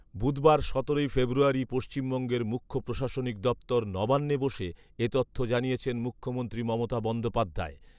বুধবার, সতেরোই ফেব্রুয়ারি, পশ্চিমবঙ্গের মুখ্য প্রশাসনিক দপ্তর ‘নবান্নে’ বসে এ তথ্য জানিয়েছেন মুখ্যমন্ত্রী মমতা বন্দ্যোপাধ্যায়